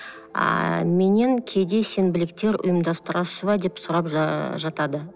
ыыы меннен кейде сенбіліктер ұйымдастырасыз ба деп сұрап жатады